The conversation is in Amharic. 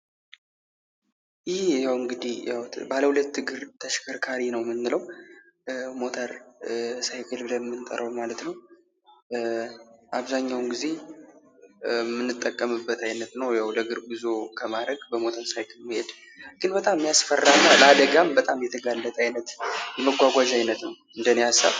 ይህ እንግዲህ ባለሁለት እግር ተሸከርካሪ ነው። ሞተር ስይክል ብለን የምንጠራው ማለት ነው። አብዛኛውን ጊዜ የምንጠቀምበት አይነት ነው። ያው ለእግር ጎዞ ከማድረግ በሞተር ስይክል መሄድ በጣም የሚያስፈራና አደጋም በጣም የተግለጠ የመጓጓዣ አይነት ነው እንደኔ ሃሳብ።